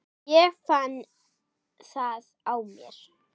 Ég fann það á mér.